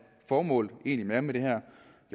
formålet egentlig er med det her